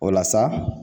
O la sa